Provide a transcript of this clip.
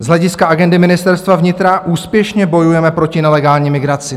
Z hlediska agendy Ministerstva vnitra úspěšně bojujeme proti nelegální migraci.